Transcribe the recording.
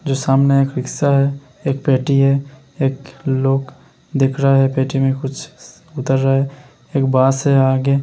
जो सामने एक रिक्शा है। एक पेटी है। एक लोग दिख रहा है। पेटी में कुछ श्श उतर रहा है। एक बाँस है आगे।